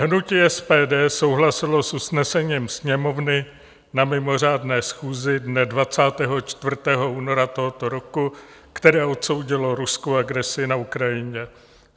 Hnutí SPD souhlasilo s usnesením Sněmovny na mimořádné schůzi dne 24. února tohoto roku, které odsoudilo ruskou agresi na Ukrajině.